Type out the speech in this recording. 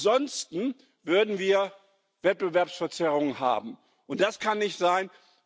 Denn ansonsten würden wir Wettbewerbsverzerrungen haben, und das kann nicht sein.